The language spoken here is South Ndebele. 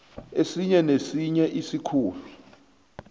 esinye nesinye isikhulu